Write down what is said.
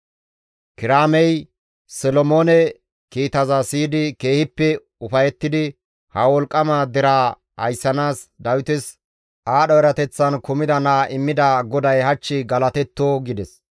Kiraamey Solomoone kiitaza siyidi keehippe ufayettidi, «Ha wolqqama deraa ayssanaas Dawites aadho erateththan kumida naa immida GODAY hach galatetto» gides.